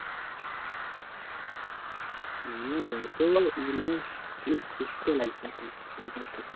না না অত এ মানে খানিক সুস্থ লাগছে এখন আগেকার থেকে